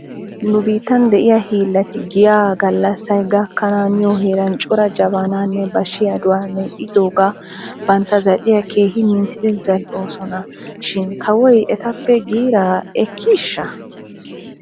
Nu biittan de'iyaa hiillati giya galassay gakkanaaniyoo heeran cora jabanaanne bashiyaaduwaa medhdhiyooga bantta zal'iyaa keehi minttidi zal''oosona shin gewoy etappe giirraa ekkiishsha?